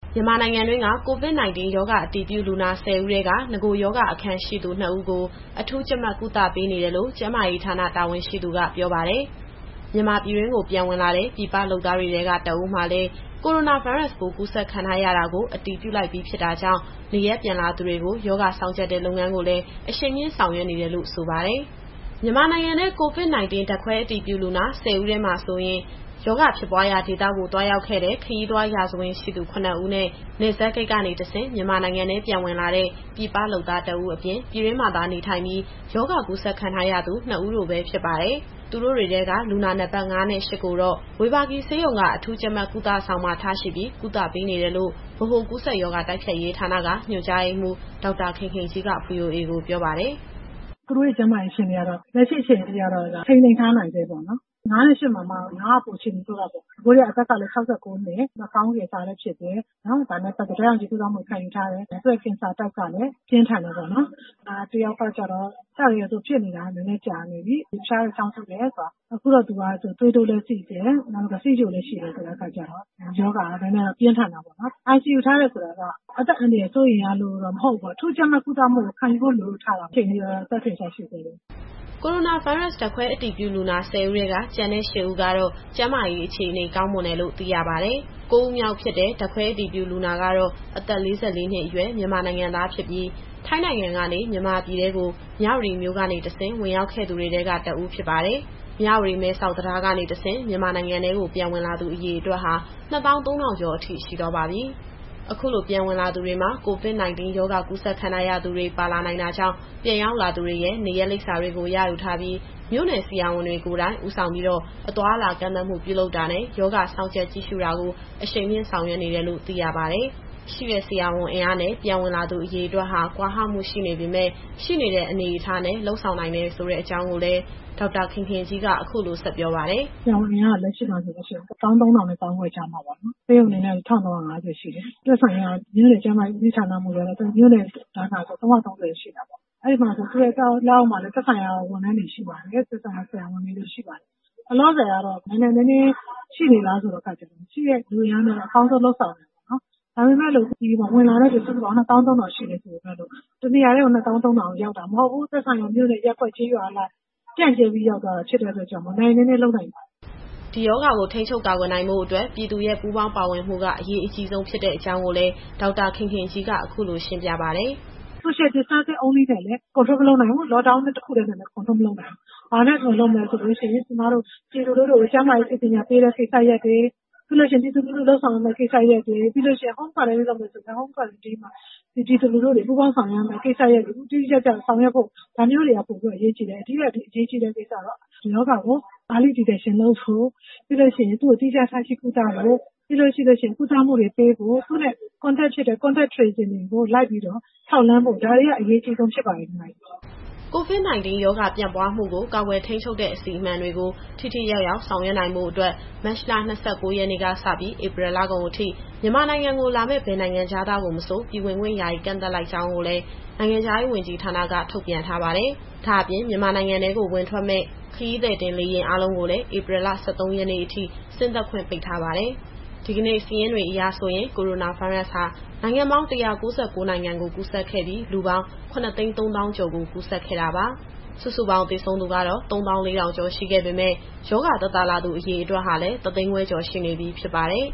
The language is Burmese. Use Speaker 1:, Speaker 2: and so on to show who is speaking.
Speaker 1: မြန်မာနိုင်ငံတွင်းက COVID-19 ရောဂါအတည်ပြုလူနာ ၁၄ဦးထဲက နဂိုရောဂါအခံရှိသူ ၂ဦးကို အထူးကြပ်မတ်ကုသပေးနေတယ်လို့ ကျန်းမာရေးဌာန တာဝန်ရှိသူကပြောပါတယ်။ မြန်မာပြည်တွင်းကိုပြန်ဝင်လာတဲ့ ပြည်ပလုပ်သားတွေထဲက ၁ဦးမှာလည်း ကိုရိုနာဗိုင်းရပ်စ်ပိုးကူးစက်ခံထားရတာကို အတည်ပြုပြီးဖြစ်တာကြောင့် နေရပ်ပြန်လာသူတွေကို ရောဂါစောင့်ကြပ်တဲ့လုပ်ငန်းကိုလည်း အရှိန်မြှင့်ဆောင်ရွက်နေတယ်လို့လည်း ဆိုပါတယ်။ အပြည့်အစုံကို ဗွီအိုအေမြန်မာပိုင်း သတင်းထောက် စုစုကပြောပြသွားမှာပါ။ မြန်မာနိုင်ငံထဲ COVID-19ဓာတ်ခွဲအတည်ပြုလူနာ ၁၄ ဦးထဲမှာဆိုရင်၊ ရောဂါဖြစ်ပွားရာဒေသကို သွားရောက်ခဲ့တဲ့ ခရီးသွားရာဇဝင်ရှိသူ ၇ဦးနဲ့ နယ်စပ်ဂိတ်ကနေတဆင့် မြန်မာနိုင်ငံထဲပြန်ဝင်လာတဲ့ ပြည်ပလုပ်သား ၁ဦးအပြင်၊ ပြည်တွင်းမှာသာနေထိုင်ပြီး ရောဂါကူးစက်ခံထားရသူ ၂ဦး တို့ပဲဖြစ်ပါတယ်။ သူတို့တွေထဲက လူနာနံပတ် ၅ နဲ့ ၈ ကိုတော့ ဝေဘာဂီဆေးရုံက အထူးကြပ်မတ်ကုသဆောင်မှာထားရှိပြီး ကုသပေးနေတယ်လို့ ဗဟိုကူးစက်ရောဂါ တိုက်ဖျက်ရေးဌာနက ညွှန်ကြားရေးမှူး ဒေါက်တာခင်ခင်ကြီးက ဗွီအိုအေကို ပြောပါတယ်။
Speaker 2: “သူတို့ရဲ့ကျန်းမာရေးကတော့ လက်ရှိအခြေအနေထိကတော့ ထိန်းသိမ်းထားနိုင်ဆဲပေါ့နော်။ လူနာအမှတ် ၅နဲ့ ၈မှာမှ ၅က အခြေအနေပိုဆိုးတာပေါ့နော်။ အသက်ကလည်း ၆၉နှစ်၊ နှာခေါင်းကင်ဆာလည်းဖြစ်တယ်။ ဒါနဲ့ပတ်သက်ပြီးတော့ ဓာတ်ရောင်ခြည်ကုသမှုလည်း ခံယူထားရတယ်။ သူ့ရဲ့ကင်ဆာကလည်း ပြင်းထန်တယ်ပေါ့နော်။ နောက်တယောက်ကတော့ အစကတည်းက သူကဖြစ်နေတာ နည်းနည်းကြာနေပြီ။ ဖျားတယ်၊ ချောင်းဆိုးတယ်၊ သွေးတိုး၊ ဆီးချိုလည်းရှိတဲ့အခါကျတော့ ရောဂါကနည်းနည်းတော့ ပြင်းထန်တာပေါ့နော်။ ICUထားတယ်ဆိုတာက အသက်အန္တရာယ်စိုးရိမ်ရလို့တော့ မဟုတ်ဘူးပေါ့။ အထူးကြပ်မတ်ကုသမှုကို ခံယူဖို့လိုလို့ ထားတာဖြစ်တယ်။ အခုချိန်ထိတော့ အသက်ထင်ရှားရှိဆဲပဲ။”
Speaker 1: ကိုရိုနာဗိုင်းရပ်စ်ဓာတ်ခွဲအတည်ပြုလူနာ ၁၄ဦးထဲက ကျန်တဲ့ သူတွေကတော့ ကျန်းမာရေးအခြေအနေကောင်းမွန်တယ်လို့ သိရပါတယ်။ ကိုးဦးမြောက်ဖြစ်တဲ့ ဓာတ်ခွဲအတည်ပြုလူနာကတော့ အသက်၄၄နှစ်အရွယ် မြန်မာနိုင်ငံသားဖြစ်ပြီး ထိုင်းနိုင်ငံကနေ မြန်မာပြည်ထဲကို မြဝတီမြို့ကနေတဆင့် ဝင်ရောက်ခဲ့သူတွေထဲက တဦးဖြစ်ပါတယ်။ မြဝတီ-မဲဆောက် တံတားကနေတဆင့် မြန်မာနိုင်ငံထဲကို ပြန်ဝင်လာသူအရေအတွက်ဟာ ၂၃,၀၀၀ ကျော်အထိရှိသွားပါပြီ။ အခုလိုပြန်ဝင်လာသူတွေမှာ COVID- 19 ရောဂါကူးစက်ခံထားရသူတွေ ပါလာနိုင်တာကြောင့် ပြန်ရောက်လာသူတွေရဲ့ နေရပ်လိပ်စာတွေကို ရယူထားပြီး မြို့နယ်ဆရာဝန်တွေကိုယ်တိုင် ဦးဆောင်ပြီး အသွားအလာကန့်သတ်မှုတွေပြုလုပ်တာနဲ့ ရောဂါစောင့်ကြပ်ကြည့်ရှုတာကို အရှိန်မြှင့်ဆောင်ရွက်နေတယ်လို့ သိရပါတယ်။ ဆရာဝန်အင်အားနဲ့ ပြန်ဝင်လာသူအရေအတွက်ဟာ ကွာဟမှုရှိနေပေမယ့် ရှိနေတဲ့အနေအထားနဲ့ လုပ်ဆောင်နိုင်တယ်ဆိုတဲ့အကြောင်းကိုလည်း ဒေါက်တာခင်ခင်ကြီးက အခုလိုဆက်ပြောပါတယ်။
Speaker 2: “ဆရာဝန်အင်အားက လက်ရှိမှာဆိုရင် ၁၃,၀၀၀ နဲ့ ၁၅,၀၀၀ ကြားမှာပေါ့နော်။ ဆေးရုံအနေနဲ့ ၁,၃၅၀ ရှိတယ်။ သက်ဆိုင်ရာ မြို့နယ်ကျန်းမာရေးဦးစီးမှူးကတော့ မြို့နယ်တိုင်းမှာဆို ၃၃၀ ရှိတာပေါ့။ သူ့ရဲ့လက်အောက်မှာလည်း သက်ဆိုင်ရာဝန်ထမ်းတွေ ဆရာဝန်တွေရှိပါတယ်။ လောလောဆယ်ကတော့ နိုင်နိုင်နင်းနင်းရှိနေလားဆိုတဲ့အခါကျတော့ ရှိတဲ့လူအင်အားနဲ့ အကောင်းဆုံးတော့လုပ်ဆောင်နေပါတယ်။ ဒါပေမယ့် ဝင်လာတဲ့သူက ၂၃,၀၀၀ ကျော်ရှိတယ်ဆိုပေမယ့်လို့ တနေရာတည်းကို ၂၃,၀၀၀ လုံးရောက်တာမဟုတ်ဘူး။ သက်ဆိုင်ရာမြို့နယ်၊ ရပ်ကွက်၊ ကျေးရွာအလိုက် ပြန့်ကြဲပြီးရောက်သွားတာဖြစ်လို့ နိုင်နိုင်နင်းနင်းလုပ်နိုင်ပါတယ်
Speaker 1: ။” ဒီရောဂါကို ထိန်းချုပ်နိုင်ဖို့အတွက်ဆို ပြည်သူရဲ့ပူးပေါင်းပါဝင်မှုက အရေးအကြီးဆုံးဖြစ်တဲ့အကြောင်းကို ဒေါက်တာခင်ခင်ကြီးက အခုလိုရှင်းပြပါတယ်။
Speaker 2: “Social Distancing တခုတည်းနဲ့လည်း မထိန်းချုပ်နိုင်ဘူး။ Lockdown တခုတည်းနဲ့လည်း ထိန်းချုပ်လို့မရဘူး။ ဘာနဲ့ထိန်းချုပ်မလဲဆိုရင် ကျမတို့ပြည်သူလူထုကို ကျန်းမာရေးပညာပေးတဲ့ကိစ္စရပ်တွေ၊ ပြည်သူတွေလုပ်ဆောင်ရမယ့် ကိစ္စရပ်တွေ၊ ပြီးရင် Home Quarantine လုပ်မယ်ဆိုရင် ပြည်သူတွေပူးပေါင်းဆောင်ရွက်ရမယ့် ကိစ္စရပ်တွေ တိတိကျကျဆောင်ရွက်ဖို့ ဒါမျိုးတွေက ပိုပြီးတော့အရေးကြီးတယ်။ ဒါထက်အရေးကြီးတာကတော့ ဒီရောဂါကို စောစီးစွာသိရှိဖို့ ပြီးရင် သီးခြားထားရှိကုသဖို့၊ သူနဲ့နီးစပ်ခဲ့သူတွေကို စုံစမ်းထောက်လှမ်းဖို့ ဒါတွေကအရေးအကြီးဆုံး ဖြစ်ပါတယ်။”
Speaker 1: COVID- 19 ရောဂါပြန့်ပွားမှုကို ကာကွယ်ထိန်းချုပ်တဲ့အစီအမံတွေကို ထိထိရောက်ရောက် ဆောင်ရွက်နိုင်ဖို့အတွက် မတ်လ ၂၉ရက်နေ့ကစပြီး ဧပြီလကုန်အထိ မြန်မာနိုင်ငံကိုလာမယ့် ဘယ်နိုင်ငံခြားသားကိုမဆို ပြည်ဝင်ခွင့်ယာယီကန့်သတ်လိုက်ကြောင်းကိုလည်း နိုင်ငံခြားရေးဝန်ကြီးဌာနက ထုတ်ပြန်ထားပါတယ်။ ဒါ့အပြင် မြန်မာနိုင်ငံ ဝင်ထွက်မယ့် ခရီးသည်တင်လေယာဉ်အားလုံးကိုလည်း ဧပြီ ၁၃ရက်နေ့အထိ ဆင်းသက်ခွင့်ပိတ်ထားပါတယ်။ ဒီကနေ့စာရင်းတွေအရဆိုရင်တော့ ကိုရိုနာဗိုင်းရပ်ဟာ နိုင်ငံပေါင်း ၁၉၉ နိုင်ငံကိုကူးစက်ခဲ့ပြီး လူပေါင်း ၇၃၀,၀၀၀ ကျော်ကို ကူးစက်ခဲ့တာပါ။ စုစုပေါင်းသေဆုံးသူကတော့ ၃၄,၀၀၀ ကျော် ရှိခဲ့ပေမယ့် ရောဂါသက်သာလာသူ အရေအတွက်ဟာလည်း ၁၅၀,၀၀၀ ကျော်ရှိနေပြီ ဖြစ်ပါတယ်